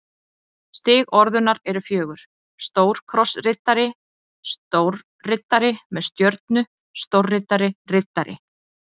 Stig orðunnar eru fjögur: stórkrossriddari stórriddari með stjörnu stórriddari riddari